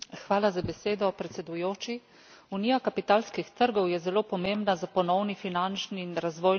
Unija kapitalskih trgov je zelo pomembna za ponovni finančni in razvojni zagon malih in srednjih podjetij.